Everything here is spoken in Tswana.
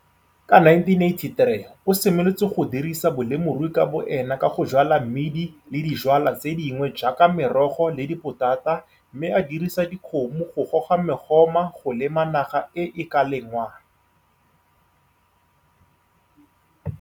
Ka 1983 o simolotse go dirisa bolemirui ka boene ka go jwala mmidi le dijwalwa tse dingwe jaaka merogo le dipotata mme a dirisa dikgomo go goga megoma go lema naga e e ka lengwang.